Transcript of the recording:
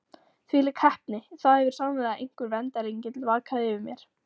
Þvílík heppni: það hefur sannarlega einhver verndarengill vakað yfir mér.